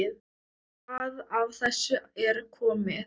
Hvað af þessu er komið?